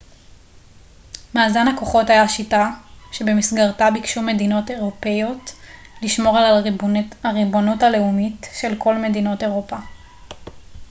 מאזן הכוחות היה שיטה שבמסגרתה ביקשו מדינות אירופיות לשמור על הריבונות הלאומית של כל מדינות אירופה